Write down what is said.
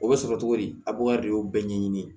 O bɛ sɔrɔ cogo di a b'o de y'o bɛɛ ɲɛɲini